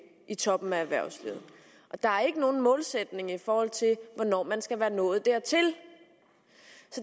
i toppen af erhvervslivet der er ikke nogen målsætning for hvornår man skal være nået dertil